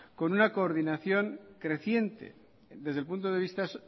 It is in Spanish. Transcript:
con una coordinación creciente desde el punto de vista